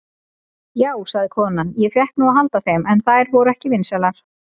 Já, sagði konan, ég fékk nú að halda þeim, en þær voru ekki vinsælar.